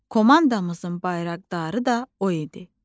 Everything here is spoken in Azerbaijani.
Komandamızın bayraqdarı da o idi.